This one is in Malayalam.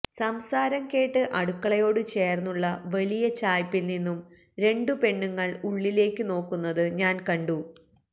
സംസാരം കേട്ട് അടുക്കളയോട് ചേര്ന്നുള്ള വലിയ ചായ്പ്പില് നിന്നും രണ്ടു പെണ്ണുങ്ങള് ഉള്ളിലേക്ക് നോക്കുന്നത് ഞാന് കണ്ടു